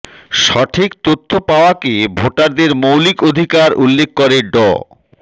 সঠিক তথ্য পাওয়াকে ভোটারদের মৌলিক অধিকার উল্লেখ করে ড